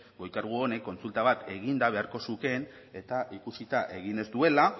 goi kargu honek kontsulta bat eginda beharko zukeen eta ikusita egin ez duela